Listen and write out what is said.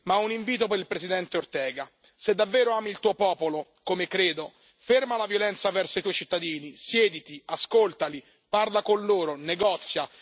Ma ho un invito per il presidente Ortega se davvero ami il tuo popolo, come credo, ferma la violenza verso i tuoi cittadini, siediti, ascoltali, parla con loro, negozia.